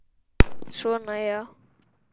Svona, já.